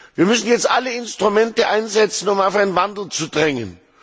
Wir müssen jetzt alle Instrumente einsetzen, um auf einen Wandel zu drängen.